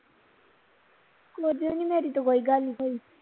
ਕੁਝ ਵੀ ਨਹੀਂ ਮੇਰੀ ਤੇ ਕੋਈ ਗੱਲ ਨਹੀ ਹੋਈ